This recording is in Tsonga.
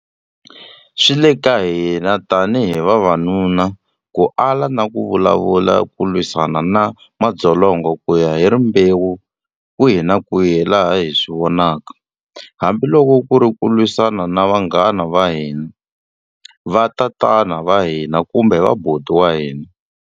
Swi le ka hina tanihi vavanuna ku ala na ku vulavula ku lwisana na madzolonga ku ya hi rimbewu kwihi na kwihi laha hi swi vonaka, hambi loko ku ri ku lwisana na vanghana va hina, vatatana va hina kumbe vaboti wa hina.